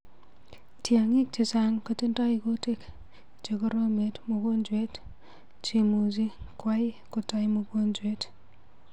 Tyang'ik chechang kotindoi kutik chegoromet mugojwet chemuji kwai kotai mugojwet.